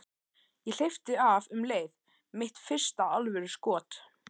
Ég hleypti af um leið: Mitt fyrsta alvöru skot.